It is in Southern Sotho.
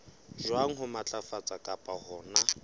jwang ho matlafatsa kapa hona